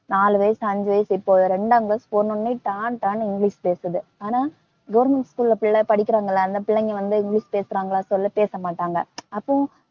நாலு வயசு அஞ்சு வயசு இப்போ ரெண்டாங் class போன உடனே டான் டானு இங்கிலிஷ் பேசுது. ஆனா government school ல பிள்ளை படிக்கறாங்கல்ல அந்த பிள்ளைங்க வந்து இங்கிலிஷ் பேசறாங்களா சொல்லு பேசமாட்டாங்க. அப்போ